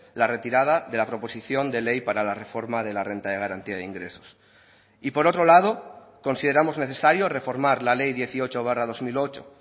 la retirada de la proposición de ley para la reforma de la renta de garantía de ingresos y por otro lado consideramos necesario reformar la ley dieciocho barra dos mil ocho